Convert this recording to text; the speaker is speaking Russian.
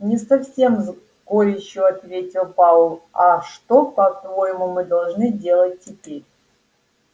не совсем с горечью ответил пауэлл а что по-твоему мы должны делать теперь